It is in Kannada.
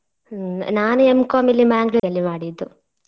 ಹ್ಮ್ ನಾನೆ M.Com ಇಲ್ಲಿ ಮ್ಯಾಂಗ್ಳೂರ್ ಅಲ್ಲಿ ಮಾಡಿದ್ದು.